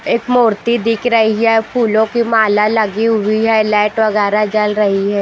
एक मूर्ति दिख रही है फूलों की माला लगी हुई है लाइट वगैरह जल रही है ।